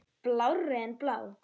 Blárri en blá.